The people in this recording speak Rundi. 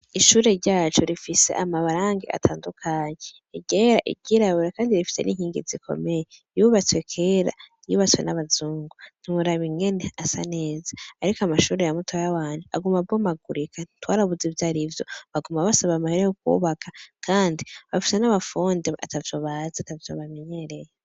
Ishure ryacu rifise amabarange atandukanyi gera igira abura, kandi rifise n'inkingi zikomeye yubatswe kera yubatswe n'abazungu ntimuraba ingene asa neza, ariko amashure ya mutaya wanyu aguma abomagurika twarabuza ivyarivyo baguma basobamahere yo kwubaka, kandi bafise n'abafonde ata vyo baza sobamenyereye.